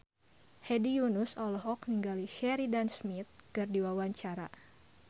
Hedi Yunus olohok ningali Sheridan Smith keur diwawancara